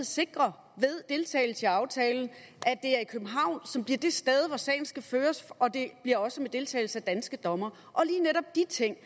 sikre ved deltagelse i aftalen at er københavn som bliver det sted hvor sagen skal føres og det bliver også med deltagelse af danske dommere og lige netop de ting